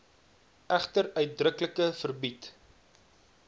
egter uitdruklik verbied